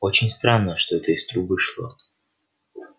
очень странно что это из трубы шло